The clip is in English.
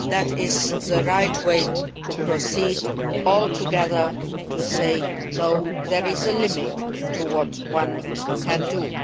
That is the right way to proceed to say altogether, no, there is a limit to what one can do'.